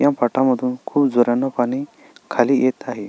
ह्या फाटामधून खुप झऱ्यान पाणी खाली येत आहे.